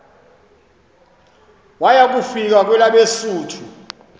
waya kufika kwelabesuthu